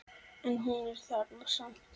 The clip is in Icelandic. En hún er þarna samt.